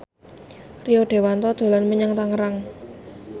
Rio Dewanto dolan menyang Tangerang